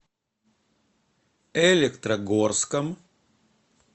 электрогорском